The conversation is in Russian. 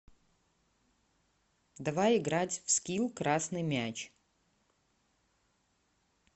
давай играть в скилл красный мяч